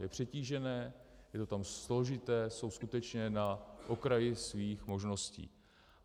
Je přetížené, je to tam složité, jsou skutečně na okraji svých možností.